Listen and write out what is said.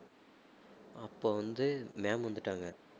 அப்ப வந்து ma'am வந்துட்டாங்க